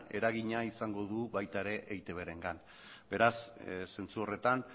eragina izango du baita ere eitbrengan beraz zentzu horretan